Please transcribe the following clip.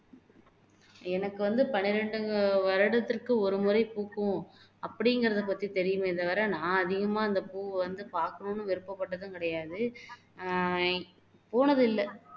எனக்கு வந்து பன்னிரண்டு வருடத்துக்கு ஒருமுறை பூக்கும் அப்படிங்கிறதைப்பத்தி தெரியுமே தவிர நான் அதிகமா அந்த பூவை வந்து பாக்கனும்னு விருப்பப்பட்டதுங்கிடையாது ஆஹ் போனதில்லை